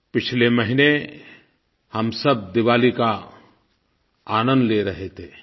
पिछले महीने हम सब दिवाली का आनंद ले रहे थे